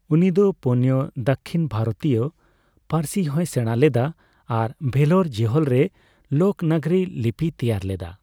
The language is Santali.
ᱩᱱᱤ ᱫᱚ ᱯᱳᱱᱭᱟ ᱫᱟᱹᱠᱷᱤᱱ ᱵᱷᱟᱨᱚᱛᱤᱭᱚ ᱯᱟᱹᱨᱥᱤ ᱦᱚᱸᱭ ᱥᱮᱬᱟ ᱞᱮᱫᱟ ᱟᱨ ᱵᱷᱮᱞᱳᱨ ᱡᱤᱦᱚᱞ ᱨᱮ ᱞᱳᱠ ᱱᱚᱜᱚᱨᱤ ᱞᱤᱯᱤᱭ ᱛᱮᱭᱟᱨ ᱞᱮᱫᱟ ᱾